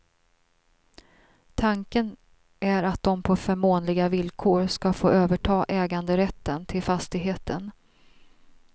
Tanken är att de på förmånliga villkor ska få överta äganderätten till fastigheten.